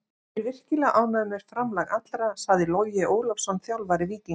Ég er virkilega ánægður með framlag allra, sagði Logi Ólafsson, þjálfari Víkinga.